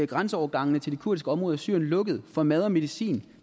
grænseovergangene til de kurdiske områder i syrien lukket for mad og medicin